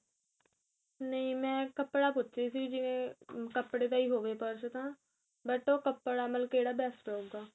ਨਹੀਂ ਮੈਂ ਕਪੜਾ ਪੁੱਛ ਰਹੀ ਸੀ ਜਿਵੇਂ ਕਪੜੇ ਦਾ ਹੀ ਹੋਵੇ purse ਤਾਂ but ਉਹ ਕਪੜਾ ਮਤਲਬ ਕਿਹੜਾ best ਰਹੇਗਾ